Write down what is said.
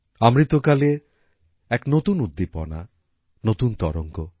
অমৃতকালে এক নতুন উদ্দীপনা নতুন তরঙ্গ